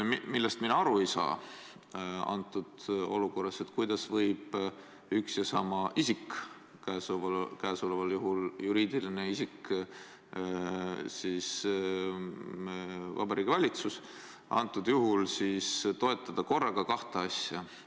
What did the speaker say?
Millest mina antud olukorras aru ei saa, on see, kuidas võib üks ja sama isik – käesoleval juhul juriidiline isik Vabariigi Valitsus – toetada korraga kahte asja.